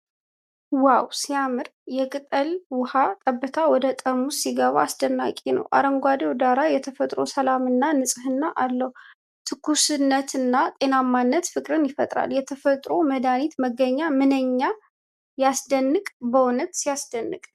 ዋው ሲያምር! የቅጠል ውኃ ጠብታ ወደ ጠርሙስ ሲገባ አስደናቂ ነው። አረንጓዴው ዳራ የተፈጥሮ ሰላምና ንጽህናን አለው። ትኩስነትና ጤናማነት ፍቅርን ይፈጥራል። የተፈጥሮ መድሃኒት መገኛ ምንኛ ያስደንቅ! በእውነት ሲደንቅ።